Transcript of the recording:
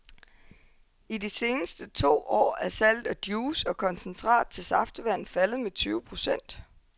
I de seneste to år er salget af juice og koncentrat til saftevand faldet med tyve procent.